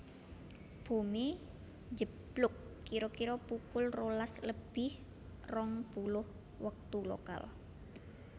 Bomé njeblug kira kira pukul rolas lebih rong puluh wektu lokal